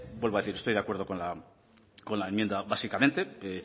vuelvo a decir estoy de acuerdo con la enmienda básicamente me